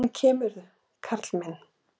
En komirðu, karl minn!